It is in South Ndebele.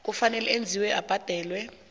kufanele enziwe abhadele